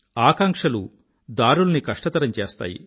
ఆకాంక్షలు దారుల్ని కష్టతరం చేస్తాయి